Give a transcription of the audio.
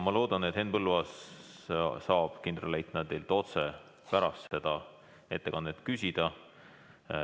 Loodan, et Henn Põlluaas saab kindralleitnandilt otse pärast seda ettekannet küsida.